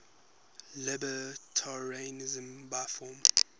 libertarianism by form